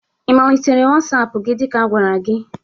Ị melitere WasAp gị dị ka agwara gi?